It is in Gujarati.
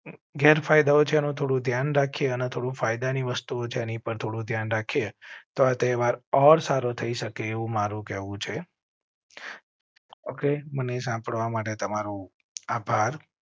ગેર ફાયદો છે તો ધ્યાન રાખે તો ફાયદા ની વસ્તુઓ જેની પર થોડું ધ્યાન રાખીએ તો તહેવાર ઔર સારો થઈ શકે એવું મારું કેવું છે. okay મને સાંભળવા માટે તમારો આભાર